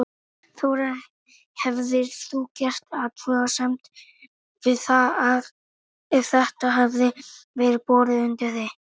Þóra: Hefðir þú gert athugasemd við það ef þetta hefði verið borið undir þig?